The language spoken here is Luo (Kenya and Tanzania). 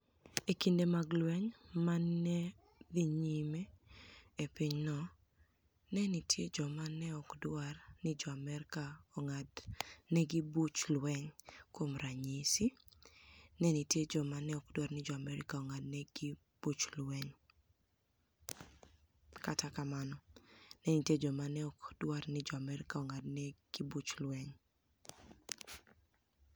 E kinide mag lweniy ma ni e dhi niyime e piny no, ni e niitie joma ni e ok dwar nii Jo - Amerka onig'adni egi buch lweniy. Kuom raniyisi, ni e niitie joma ni e ok dwar nii Jo - Amerka onig'adni egi buch lweniy. Kata kamano, ni e niitie joma ni e ok dwar nii Jo - Amerka onig'adni egi buch lweniy. ni e niitie joma ni e ok dwar nii Jo - Amerka onig'adni egi buch lweniy. 14 Janiuar 2021 Anig'o mabiro timore banig' yiero mar Uganida? 14 Janiuar 2021 Gima Ji Ohero Somo 1 Kaka Ponografi noloko nigima niyako Moro 2. Anig'o Momiyo Atudo jack nono Ji ahiniya e mbui mar twitter?